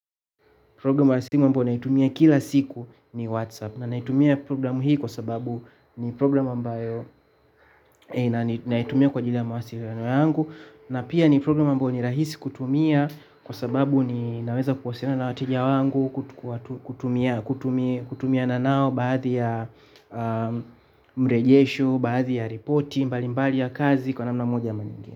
Programu wa simu ambayo naitumia kila siku ni Whatsapp. Na naitumia programu hii kwa sababu ni programu ambayo na naitumia kwa ajili ya mawasiliano yangu na pia ni programu ambayo ni rahisi kutumia kwa sababu ninaweza kuwasiliana na wateja wangu kutumiana nao baadhi ya mrejesho, baadhi ya ripoti mbalimbali ya kazi kwa namna moja ama nyingine.